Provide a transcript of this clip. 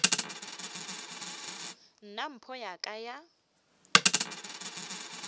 nna mpho ya ka ya